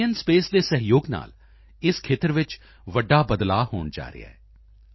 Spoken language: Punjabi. ਸਪੇਸ ਦੇ ਸਹਿਯੋਗ ਨਾਲ ਇਸ ਖੇਤਰ ਵਿੱਚ ਵੱਡਾ ਬਦਲਾਅ ਹੋਣ ਜਾ ਰਿਹਾ ਹੈ ਆਈ